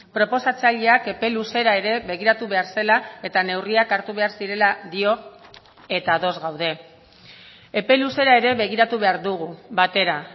proposatzaileak epe luzera ere begiratu behar zela eta neurriak hartu behar zirela dio eta ados gaude epe luzera ere begiratu behar dugu batera